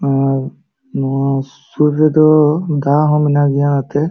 ᱟᱨ ᱱᱚᱣᱟ ᱥᱩᱨ ᱨᱮ ᱫᱚ ᱫᱟᱜ ᱦᱚ ᱢᱮᱱᱟᱜ ᱜᱤᱭᱟ ᱜᱟᱛᱮ᱾